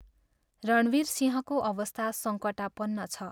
रणवीरसिंहको अवस्था सङ्कटापन्न छ।